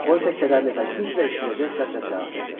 O isə kədərli və güclə eşidiləcək səslə cavab verdi: